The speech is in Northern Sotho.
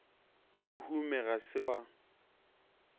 o hume ga se wa